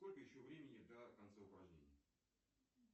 сколько еще времени до конца упражнения